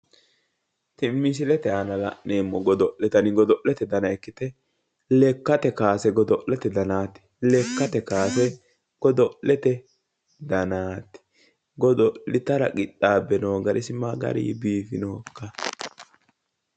Misilete aana la'neemmo godo'le dani godo'lete dana ikkite lekkate kaase godo'lete danaati lekkate kaase godo'lete danaati godo'litara qixxaabe noo gari isi ma gari biifinohokka?